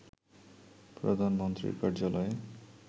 প্রধানমন্ত্রীর কার্যালয়ে